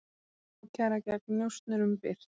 Ákæra gegn njósnurum birt